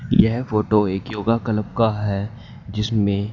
यह फोटो एक yoga club का है जिसमें--